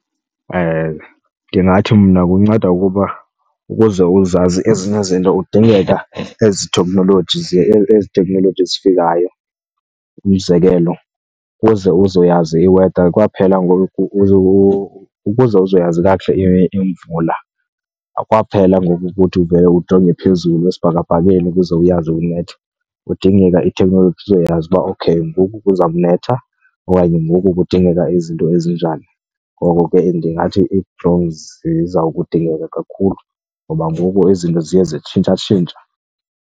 Ndingathi mna kunceda ukuba ukuze uzazi ezinye izinto kudingeka ezi thekhnoloji , ezi thekhnoloji zifikayo. Umzekelo, ukuze uzoyazi i-weather kwaphela ngoku , ukuze uzoyazi kakuhle imvula kwaphela ngoku ukuthi uvele ujonge phezulu esibhakabhakeni ukuze uyazi kunetha. Kudingeka ithekhnoloji uzoyazi uba okay ngoku kuzawunetha okanye ngoku kudingeka izinto ezinjani. Ngoko ke ndingathi ii-drones ziza kudingeka kakhulu ngoba ngoku izinto ziye zitshintshatshintsha.